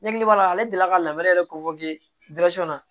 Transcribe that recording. Ne hakili b'a la ale delila ka lamɛn yɛrɛ kofɔ na